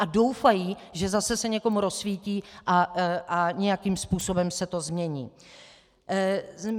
A doufají, že zase se někomu rozsvítí a nějakým způsobem se to změní.